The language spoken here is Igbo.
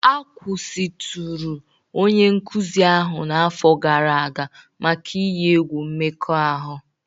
A kwụsịtụrụ onye nkuzi ahụ n'afọ gara aga maka iyi egwu mmekọahụ